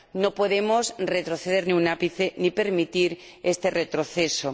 No podemos retroceder ni un ápice ni permitir ese retroceso.